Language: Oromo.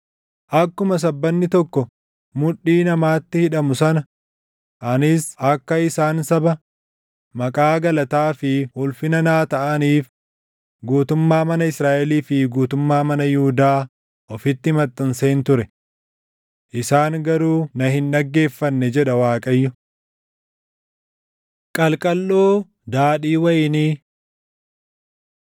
Akkuma sabbanni tokko mudhii namaatti hidhamu sana anis akka isaan saba, maqaa, galataa fi ulfina naa taʼaniif guutummaa mana Israaʼelii fi guutummaa mana Yihuudaa ofitti maxxanseen ture. Isaan garuu na hin dhaggeeffanne’ jedha Waaqayyo. Qalqalloo Daadhii Wayinii